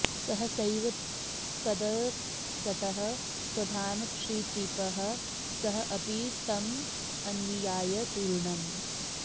सहसैव तदंसतः स्वधाम क्षितिपः सः अपि तमन्वियाय तूर्णम्